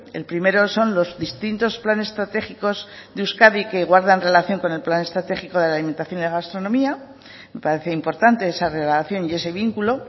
el primero son los distintos planes estratégicos de euskadi que guardan relación con el plan estratégico de la alimentación y la gastronomía me parece importante esa relación y ese vínculo